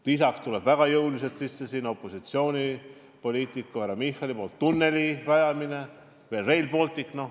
Lisaks tuleb väga jõuliselt sisse opositsioonipoliitiku härra Michali nimetatud tunneli rajamine ja veel Rail Baltic.